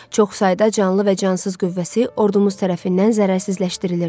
Çox sayda canlı və cansız qüvvəsi ordumuz tərəfindən zərərsizləşdirilirdi.